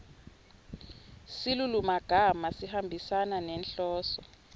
silulumagama sihambisana nenhloso